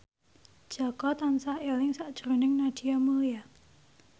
Jaka tansah eling sakjroning Nadia Mulya